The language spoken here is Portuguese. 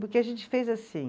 Porque a gente fez assim.